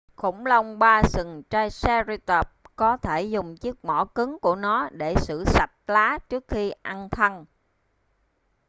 khủng long ba sừng triceratop có thể dùng chiếc mỏ cứng của nó để xử sạch lá trước khi ăn thân